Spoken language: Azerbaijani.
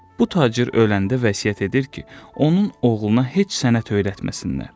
Bu tacir öləndə vəsiyyət edir ki, onun oğluna heç sənət öyrətməsinlər.